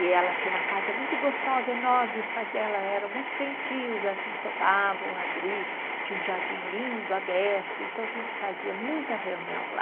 E ela tinha uma casa muito gostosa, enorme, os pais dela eram muito gentios, assim, topavam abrir, tinha um jardim lindo, aberto, então a gente fazia muita reunião lá.